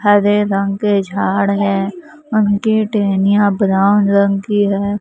हरे रंग के झाड़ है उनकी टहनियां ब्राउन रंग की है।